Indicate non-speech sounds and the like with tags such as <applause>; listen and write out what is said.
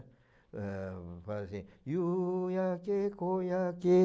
Eh, eu faço assim... <unintelligible>